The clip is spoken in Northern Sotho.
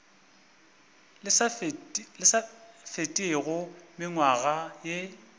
le sa fetego mengwaga ye